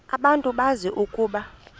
abantu bazi ukuba